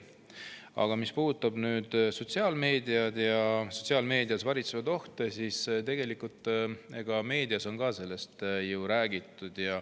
Aga mis puudutab sotsiaalmeedias varitsevaid ohte, siis nendest on ka meedias räägitud.